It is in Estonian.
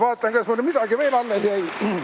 Vaatan, kas mul midagi veel alles jäi.